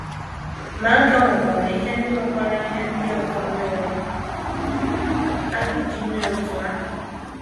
Ma, a ka nwekwara ihe ndị nwekwara ihe ndị ọzọ mere a ga - eji mee otú ahụ.